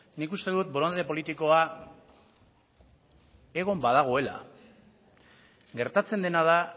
nik uste dut borondate politikoa egon badagoela gertatzen dena da